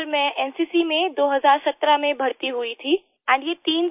sir मैं NCC में 2017 में भर्ती हुई थी एंड ये तीन